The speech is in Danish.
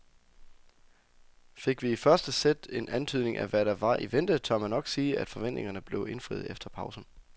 Fik vi i første sæt en antydning af hvad der var i vente, tør man nok sige at forventningerne blev indfriet efter pausen.